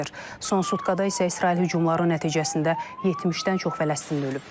Son sutkada isə İsrail hücumları nəticəsində 70-dən çox Fələstinli ölüb.